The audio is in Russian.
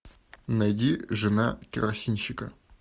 найди жена керосинщика